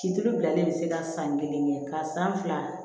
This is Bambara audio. Ciri bilalen bɛ se ka san kelen kɛ ka san fila